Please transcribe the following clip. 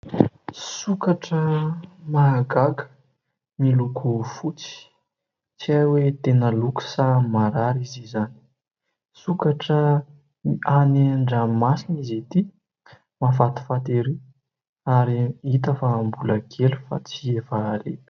Sokatra mahagaga miloko fotsy ; tsy hay hoe tena loko sa marary izy izany. Sokatra any an-dranomasina izy ity mahafatifaty ery ary hita fa mbola kely fa tsy efa ary.